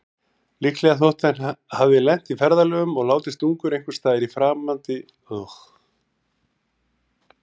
Líklegast þótti að hann hefði lent í ferðalögum og látist ungur einhversstaðar á framandi slóðum.